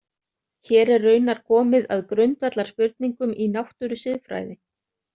Hér er raunar komið að grundvallarspurningum í náttúrusiðfræði.